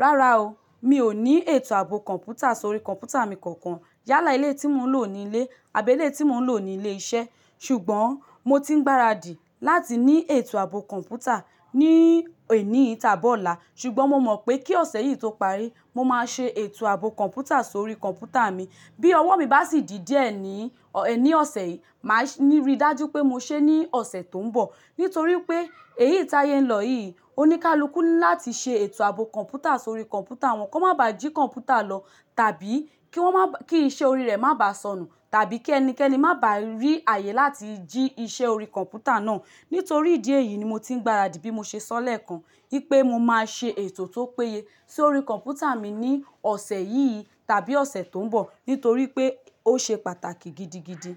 Rárá o, mi ò ní ètò ààbò kọ̀ǹpútà sórí kọ̀ǹpútà mi kankan. Yálà eliyi tí mò ń lò ní ilé, àbẹ́lé tí mò ń lò ní ilé iṣẹ́. Ṣùgbọ́n mo ti ń gbáradì láti ní ètò ààbò kọ̀ǹpútà ní eni yi tabi ọ̀la. Ṣùgbọ́n mo mọ̀ pé kí ọ̀sẹ̀ yìí tó parí, mo máa ṣe ètò ààbò kọ̀ǹpútà sórí kọ̀ǹpútà mi. Bí ọwọ́ mi bá sì ji díẹ́ ní, ẹ́ ní ọ̀sẹ̀ yìí, màá ní rí i dájú pé mo ṣe é ní ọ̀sẹ̀ tó ń bọ̀. Nítorí pé èyí ti áyẹ n lọ yìí ò ní ká loku láti ṣe ètò ààbò kọ̀ǹpútà sórí kọ̀ǹpútà wọn kó má ba à jí kọ̀ǹpútà lọ tàbí kí wọ́n má bá, kí iṣẹ́ orí rẹ̀ má bá sọnù tàbí kí ẹnikẹ́ni má bá rí ààyè láti jí iṣẹ́ orí kọ̀ǹpútà náà. Nítorí ìdí èyí ni mo ti ń gbáradì bí mo ṣe sọ lẹ́ẹ̀kan wípé mo máa ṣe ètò tó péye sórí kọ̀ǹpútà mi ní ọ̀sẹ̀ yìí tàbí ọ̀sẹ̀ tó ń bọ̀. Nítorí pé ó ṣe pàtàkì gidi, gidi.